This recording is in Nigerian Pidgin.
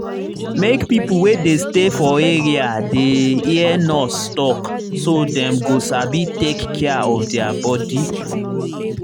make pipo wey dey stay for area dey hear nurse talk so dem go sabi take care of their body.